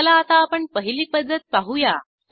चला आता आपण पहिली पद्धत पाहूया